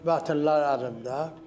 Vətənlər əlimdə.